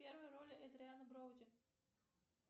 первая роль эдриана броуди